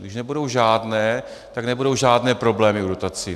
Když nebudou žádné, tak nebudou žádné problémy v dotacích.